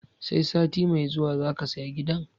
Sai sati mai zuwa zaka saya gidan?